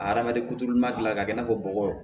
Adamaden kuturu ɲuman dilan k'a kɛ i n'a fɔ bɔgɔ